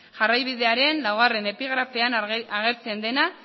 jarraibidearen laugarrena epigrafean agertzen dena